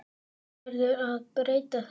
Það verður að breyta þessu.